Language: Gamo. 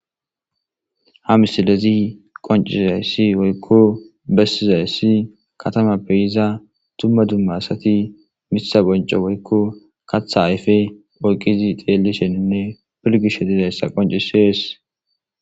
Ha misilezi qoncisizayssi woykko bessizayssi katama peyiza tumma dumma asati misa bonco woykko katha ayfe oyqizi xeeli sheninne pilgis shetizayssa qoncisees